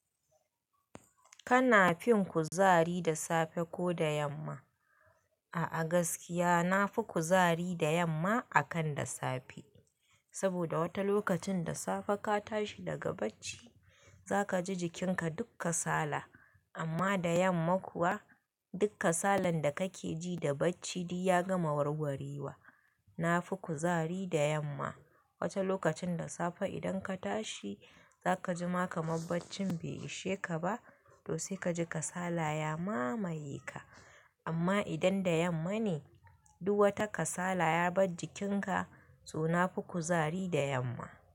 Kana fin kuzari da safe ko da yamma? A a gaskiya na fi kuzari da yamma akan da safe. Saboda wata lokacin da safe ka tashi daga bacci, za ka ji jikinka dukka sala. Amma da yamma kuwa, dukka salan da ka keji da bacci di ya gama warwarewa. Na fi kuzari da yamma. Wata lokacin da safe idan ka tashi za ka ji maka mabaccin bai ishe ka ba, to sai ka ji kasala ya mamaye ka. Amma idan da yamma ne, duk wata kasala ya bar jikinka, to na fi kuzari da yamma.